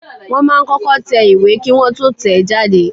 Wọ́n máa ń kọ́kọ́ tẹ ìwé Kí Wọ́n tó tẹ̀ ẹ́ jáde.